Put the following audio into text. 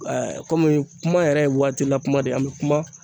komi kuma yɛrɛ ye waatila kuma de an be kuma